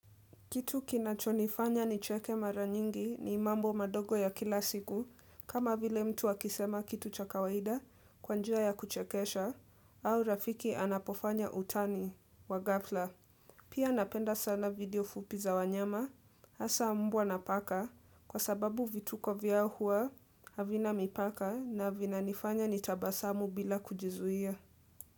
Kitu kinachonifanya nicheke mara nyingi ni mambo madogo ya kila siku kama vile mtu akisema kitu cha kawaida kwa njia ya kuchekesha au rafiki anapofanya utani wa ghafla. Pia napenda sana video fupiza wanyama hasa mbwa na paka kwa sababu vituko vyao huwa havina mipaka na vinanifanya nitabasamu bila kujizuia.